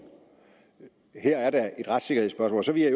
her er der et retssikkerhedsspørgsmål så vil jeg